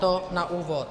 To na úvod.